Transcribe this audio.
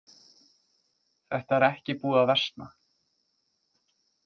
Þetta er ekki búið að versna.